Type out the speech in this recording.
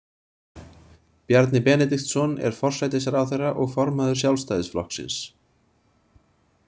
Bjarni Benediktsson er forsætisráðherra og formaður Sjálfstæðisflokksins.